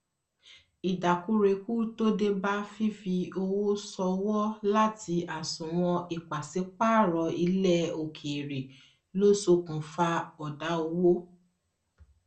ìdákúrekú tó dé bá fífi owó sọwọ láti àsùnwòn ìpàsípààrọ ilẹ òkèèrè ló ṣokùnfà ọdá owó